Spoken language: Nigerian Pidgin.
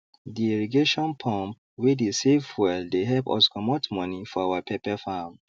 the irrigation pump wey dey save fuel dey help us comot money for our pepper farm